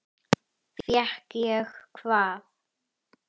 Fékk ég hvað?